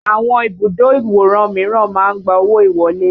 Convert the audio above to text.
Àwọn ibùdó ìwòran míràn máa ń gba owó ìwọlé